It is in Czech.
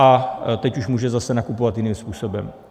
A teď už může zase nakupovat jiným způsobem.